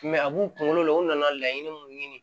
a b'u kunkolo la u nana laɲini mun ɲini